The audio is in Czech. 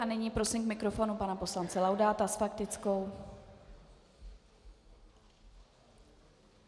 A nyní prosím k mikrofonu pana poslance Laudáta s faktickou.